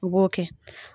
U b'o kɛ